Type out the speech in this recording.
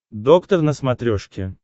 доктор на смотрешке